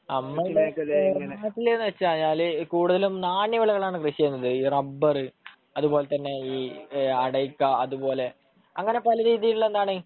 നമ്മുടെ നാട്ടിലെന്നുവെച്ചാല് കൂടുതലും നാണ്യവിളകളാണ് കൃഷിചെയ്യുന്നത്. ഈ റബർ അതുപോലെതന്നെ ഈ അടയ്ക്ക, അതുപോലെ അങ്ങനെ പലരീതിയിലുള്ള എന്താണ്,